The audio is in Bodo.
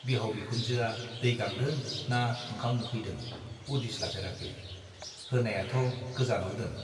बिहाव बिखुनजोआ दै गांदों ना ओंखाम उखैदों उदिस लाफेराखै , होनायाथ' गोजानाव दोन ।